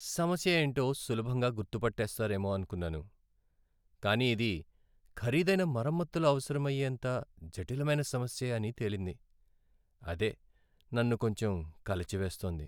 సమస్య యేంటో సులభంగా గుర్తుపట్టేస్తారేమో అనుకున్నాను, కానీ ఇది ఖరీదైన మరమ్మతులు అవసరమయ్యేంత జటిలమైన సమస్య అని తేలింది. అదే నన్ను కొంచెం కలచివేస్తోంది.